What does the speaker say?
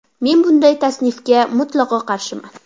Men bunday tasnifga mutlaqo qarshiman.